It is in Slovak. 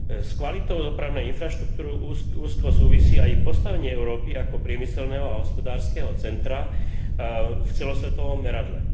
S kvalitou dopravnej infraštruktúry úzko súvisí aj postavenie Európy ako priemyselného a hospodárskeho centra v celosvetovom meradle.